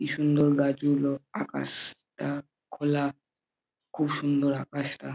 কি সুন্দর গাছগুলো আকাশ টা খোলা খুব সুন্দর আকাশটা ।